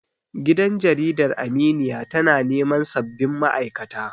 Gidan Jaridar Aminiya tana neman sabbin ma'aikata.